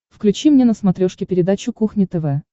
включи мне на смотрешке передачу кухня тв